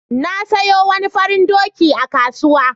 Na sayo wani farin doki a kasuwa.